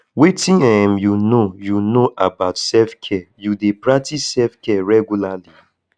wetin um you know you know about selfcare you dey practice selfcare regularly